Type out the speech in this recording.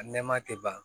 A nɛɛma tɛ ban